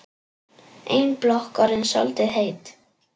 Ein blokk orðin soldið heit.